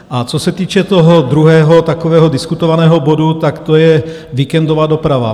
A co se týče toho druhého takového diskutovaného bodu, tak to je víkendová doprava.